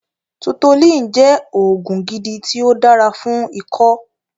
Tutolin jẹ́ oògùn gidi ti o dára fún ikó